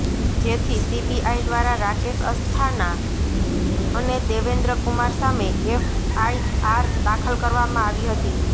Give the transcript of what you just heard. જેથી સીબીઆઇ દ્વારા રાકેશ અસ્થાના અને દેવેન્દ્ર કુમાર સામે એફઆઇઆર દાખલ કરવામાં આવી હતી